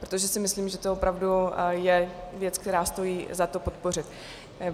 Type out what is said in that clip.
Protože si myslím, že to opravdu je věc, kterou stojí za to podpořit.